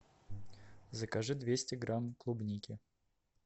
закажи двести грамм клубники